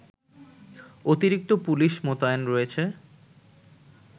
অতিরিক্ত পুলিশ মোতায়েন রয়েছে